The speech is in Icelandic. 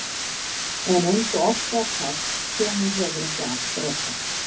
En eins og oft var sagt: hvenær hefur ekki allt reddast?